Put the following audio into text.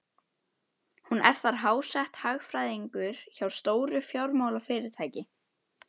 Hún er þar háttsett, hagfræðingur hjá stóru fjármálafyrirtæki.